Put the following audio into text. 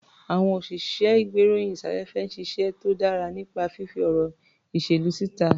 Àwọn òsìṣẹ́-ìgbéròyìn-sáfẹ́fẹ́ ń ṣiṣẹ́ tó dára nípa fífí ọ̀rọ̀ ìṣèlú síta.